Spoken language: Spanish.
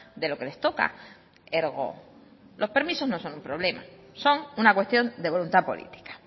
de lo que les toca ergo los permisos no son un problema son una cuestión de voluntad política